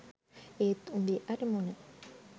ඒත් උඹේ අරමුණ